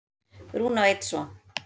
Rúna á einn son.